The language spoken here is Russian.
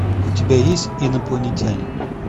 у тебя есть инопланетянин